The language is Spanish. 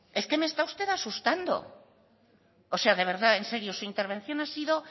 es que me está usted asustando o sea de verdad en serio su intervención ha sido